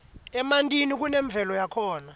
emantini kunemvelo yakhona